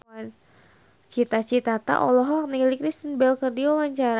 Cita Citata olohok ningali Kristen Bell keur diwawancara